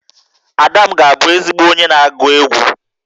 Ada m ga-abụ ezigbo onye na-agụ egwú